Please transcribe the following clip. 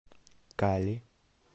кали